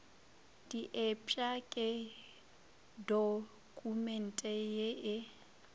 diepša ke dokumente ye e